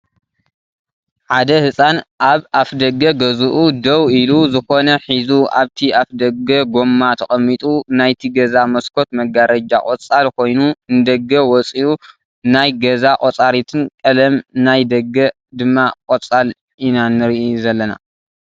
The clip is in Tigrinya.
ሓደ ህፃን ኣብ ኣፍ ደገ ገዝኡ ዴዉ ኢሉ ዝኮነ ሒዙ ኣብቲ ኣፍ ደገ ጎማ ተቀሚጡ ናይቲ ገዛ መስኮት መጋረጃ ቆፃል ኮይኑ ንደገ ወፅዩ ናይ ገኣ ቆፃሪትን ቀለም ናይ ዴገ ድማ ቆፃል ኢና ንርኢ ዘለና።